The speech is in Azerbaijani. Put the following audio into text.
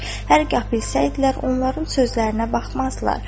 Hər gah bilsəydilər onların sözlərinə baxmazdılar.